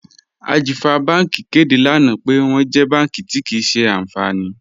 Ajífà Bànki kẹdé lánà pẹ̀ wọn jẹ́ bànki tí kíì ṣe ànfánì.